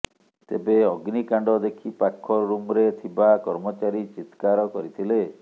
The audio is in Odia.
ତେବେ ଅଗ୍ନିକାଣ୍ଡ ଦେଖି ପାଖ ରୁମ୍ରେ ଥିବା କର୍ମଚାରୀ ଚିତ୍କାର କରିଥିଲେ